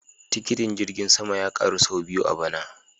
Tikitin jirgin sama ya karu sau biyu a bana